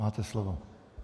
Máte slovo.